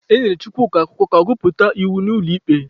E nyere Chukwuka akwụkwọ ka ọ gụpụta iwu n'ụlọ ikpe.